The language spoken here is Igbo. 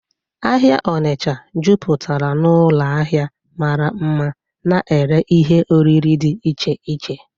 Ahịa Ọnịcha jupụtara n'ụlọ ahịa mara mma na-ere ihe oriri dị iche iche.